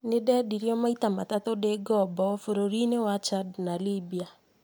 Nĩ ndendirio maita matatũ ndĩ ngombo bũrũri-inĩ wa Chad na Libya